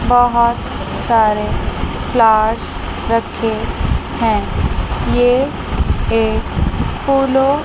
बहुत सारे फ्लार्स रखे हैं ये एक फूलों--